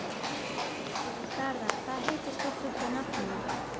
Garðar, hvað heitir þú fullu nafni?